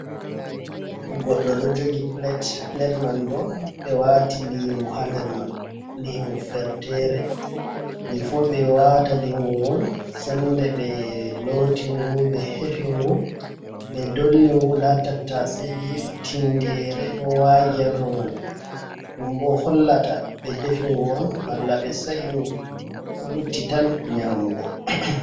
Goɗdo ɗo jogi plate, plate man bo ɓe wati lingu ha nder man, lingu fertere, before ɓe wata lingu gon sende ɓe loti ngu, ɓe hefi ngu, ɓe dolli ngu, nda tattaseje, tingere, ɗo wagi hado man, ɗum bo hollata ɓe defi ngu on malla ɓe sa’i ngu ko lutti tan nyamugo.